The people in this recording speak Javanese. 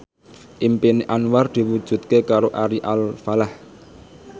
impine Anwar diwujudke karo Ari Alfalah